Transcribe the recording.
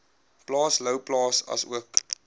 plaas louwplaas asook